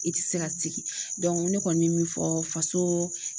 I tɛ se ka sigi ne kɔni bɛ min fɔ faso